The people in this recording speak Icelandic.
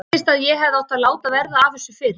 Fyndist að ég hefði átt að láta verða af þessu fyrr.